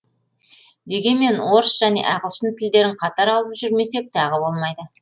дегенмен орыс және ағылшын тілдерін қатар алып жүрмесек тағы болмайды